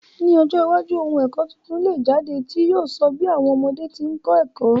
Ni ọjọ́ iwájú, oun èkó tuntun le jáde, ti yio so bi àwom ọmọdé ti n kó ẹ̀kó